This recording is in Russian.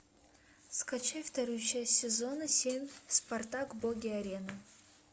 скачай вторую часть сезона семь спартак боги арены